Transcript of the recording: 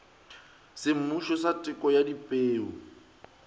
semmušo sa teko ya dipeu